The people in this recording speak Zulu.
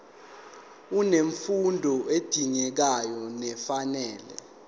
unemfundo edingekayo nefanele